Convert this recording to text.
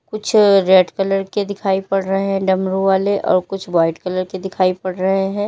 कुछ red colour के दिखाई पड़ रहे हैं डमरू वाले और कुछ व्हाइट कलर के दिखाई पड़ रहे हैं।